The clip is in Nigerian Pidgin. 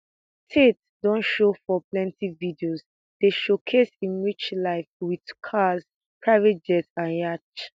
tate don show for plenty videos dey showcase im rich life wit cars private jets and yachts